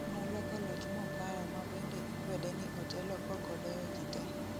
Noloko loch mokao ma bende ikwede ni otelo kokodeo ji te